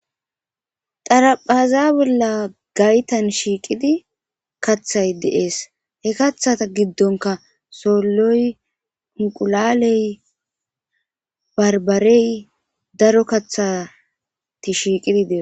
Xaraphez bolla gaytan shiqid kathay de'es. Ha kathaza gidonka soloy , unqulaley, barbarey daro kathat shiqid de'osona.